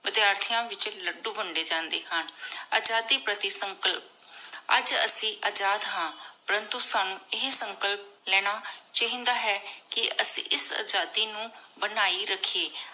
ਵਾਦੀਯਾਠੀਆਂ ਵਿਚ ਲਾਦ੍ਦੋ ਵੰਡੀ ਜਾਂਦੇ ਹਨ। ਆਜ਼ਾਦੀ ਪਾਰਟੀ ਸੰਕਲਪ, ਅਜੇ ਅਸੀਂ ਅਜਾਦ ਹਨ ਪ੍ਰਾੰਤੋ ਸਾਨੂ ਏਹੀ ਸੰਕਲਪ ਲੇਣਾ ਚਾਹੀ ਦਾ ਹੈ ਕੀ ਅਸੀਂ ਇਸ ਆਜ਼ਾਦੀ ਨੂ ਬਨਾਯੀ ਰੱਖੀਏ ।